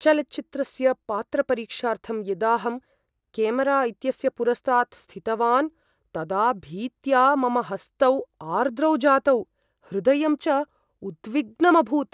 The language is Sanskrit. चलच्चित्रस्य पात्रपरीक्षार्थं यदाऽहं क्यामेरा इत्यस्य पुरस्तात् स्थितवान् तदा भीत्या मम हस्तौ आर्द्रौ जातौ, हृदयं च उद्विग्नमभूत्।